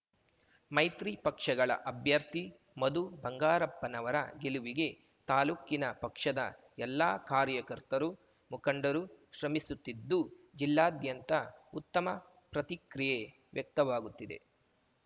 ಮೈತ್ರಿ ಪಕ್ಷಗಳ ಅಭ್ಯರ್ಥಿ ಮಧು ಬಂಗಾರಪ್ಪನವರ ಗೆಲುವಿಗೆ ತಾಲೂಕಿನ ಪಕ್ಷದ ಎಲ್ಲ ಕಾರ್ಯಕರ್ತರು ಮುಖಂಡರು ಶ್ರಮಿಸುತ್ತಿದ್ದು ಜಿಲ್ಲಾದ್ಯಂತ ಉತ್ತಮ ಪ್ರತಿಕ್ರಿಯೆ ವ್ಯಕ್ತವಾಗುತ್ತಿದೆ